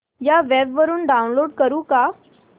या वेब वरुन डाऊनलोड करू का